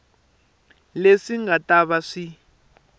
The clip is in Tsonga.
leswi nga ta va swi